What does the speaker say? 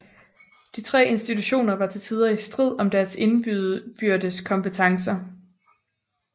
De tre institutioner var til tider i strid om deres indbyrdes kompetencer